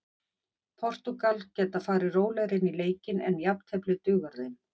Portúgal geta farið rólegri inn í leikinn en jafntefli dugar þeim.